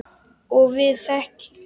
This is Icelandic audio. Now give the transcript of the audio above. Og við þegjum.